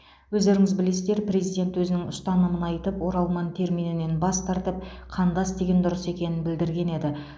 өздеріңіз білесіздер президент өзінің ұстанымын айтып оралман терминінен бас тартып қандас деген дұрыс екенін білдірген еді